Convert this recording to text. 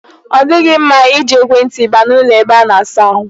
Ọ dịghị mma i ji ekwe ntị baa n'ụlọ ebe a na-asa ahụ.